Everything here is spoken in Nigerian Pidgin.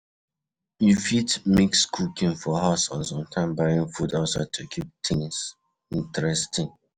You fit mix cooking for house and sometimes buying food outside to keep things interesting